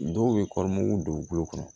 Dɔw bɛ kɔɔri don u bolo